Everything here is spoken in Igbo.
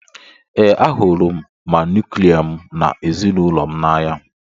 Ee, ahụrụ m ma nuklia m na ezinụlọ m n'anya.